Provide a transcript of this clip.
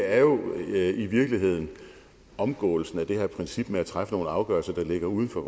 er jo i virkeligheden omgåelsen af det her princip med at træffe nogle afgørelser der ligger uden for